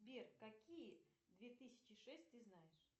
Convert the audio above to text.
сбер какие две тысячи шесть ты знаешь